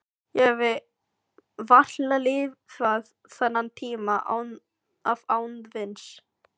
Ég hefði varla lifað þennan tíma af án víns.